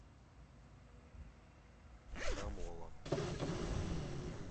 крамола